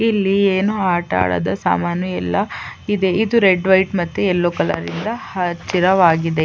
ಇಲ್ಲಿ ಏನೋ ಆಟ ಆಡೋದು ಸಾಮಾನು ಎಲ್ಲಾ ಇದೆ ಇದು ರೆಡ್ ವೈಟ್ ಮತ್ತೆ ಯೆಲ್ಲೋ ಕಲರ್ ಇಂದಾ ಹಚ್ಚಿರವಾಗಿದೆ.